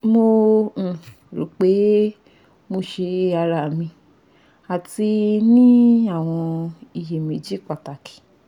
mo um ro pe mo se ara mi ati ni awọn iyemeji pataki